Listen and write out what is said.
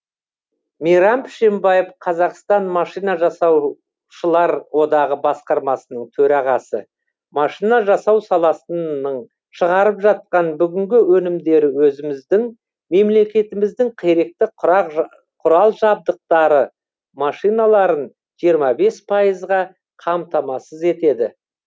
мейрам пшембаев қазақстан машина жасау шылар одағы басқармасының төрағасы машина жасау саласының шығарып жатқан бүгінгі өнімдері өзіміздің мемлекетіміздің керекті құрал жабдықтары машиналарын жиырма бес пайызға қамтамасыз етеді